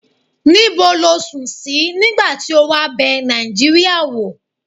ni bo lo sun si nigba ti o wa be nijiiria wo?